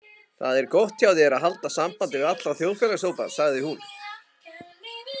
Það er gott hjá þér að halda sambandi við alla þjóðfélagshópa, sagði hún.